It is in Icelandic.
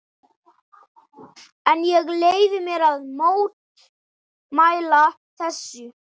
En ég leyfi mér að mótmæla þessu.